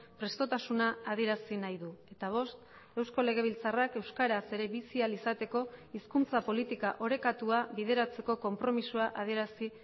prestotasuna adierazi nahi du eta bost eusko legebiltzarrak euskaraz ere bizi ahal izateko hizkuntza politika orekatua bideratzeko konpromisoa adierazi